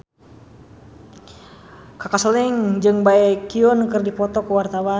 Kaka Slank jeung Baekhyun keur dipoto ku wartawan